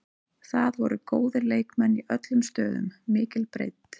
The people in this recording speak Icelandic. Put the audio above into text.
Það voru góðir leikmenn í öllum stöðum, mikil breidd.